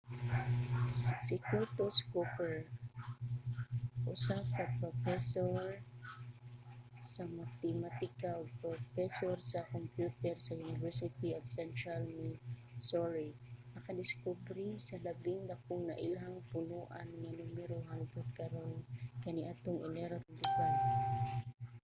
si curtis cooper usa ka propesor sa matematika ug propesor sa kompyuter sa university of central missouri nakadiskubre sa labing dakong nailhang punoan nga numero hangtod karon kaniadtong enero 25